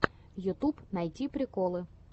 ютюб найти приколы